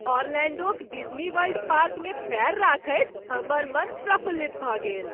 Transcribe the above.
ओरलैंडोक Disney World पार्कमे पैर रखैत हमर मन प्रफुल्लित भऽ गेल।